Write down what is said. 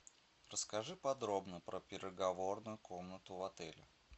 расскажи подробно про переговорную комнату в отеле